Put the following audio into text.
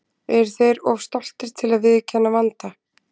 Eru þeir of stoltir til að viðurkenna vanda?